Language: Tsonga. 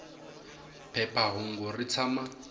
phepha hungu ri tshama